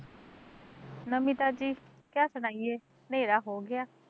ਨਵੀਂ ਤਾਜ਼ੀ, ਕਿਆ ਸੁਣਾਈਏ, ਨੇਰਾ ਹੋਗਿਆ